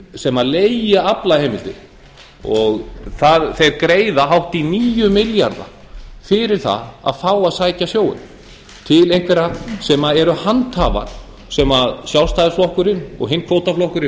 sem leigja aflaheimildir þeir greiða hátt í níu milljarða fyrir það að fá að sækja sjóinn til einhverra sem eru handhafar sem sjálfstæðisflokkurinn og hinn kvótaflokkurinn